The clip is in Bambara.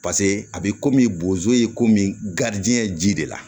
Paseke a bɛ komi bozo ye komi garijigɛ ye ji de la